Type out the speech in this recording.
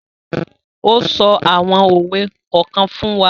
O so awon owe kokan fun wa